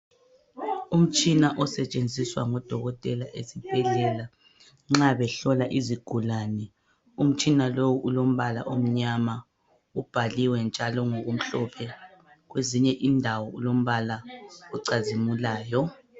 Umtshina osetshenziswa ngodokotela ezibhedlela nxa behlola izigulane umtshina lowu ulombala omnyama ubhaliwe njalo ngokumhlophe kwezinye indawo ulombala ocazimulayo.